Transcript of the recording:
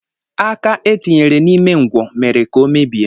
Aka e tinyere n'ime ngwọ mere ka ọ mebie